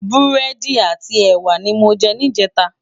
Búrédi áti èwá ni mó jè nijètá